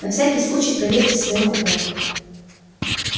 на всякий случай проверьте своё купе